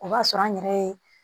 O b'a sɔrɔ an yɛrɛ ye